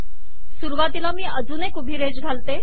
सुरुवातीला मी अजून एक उभी रेष घालते